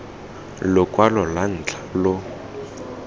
lokwalo lwa ntlha lo lo